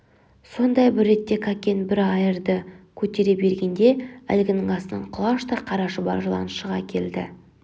сондай бір ретте кәкен бір айырды көтере бергенде әлгінің астынан құлаштай қара шұбар жылан шыға келді